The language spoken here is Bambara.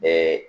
Bɛɛ